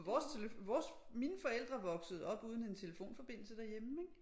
For vores vores mine forældre voksede op uden en telefonforbindelse derhjemme ik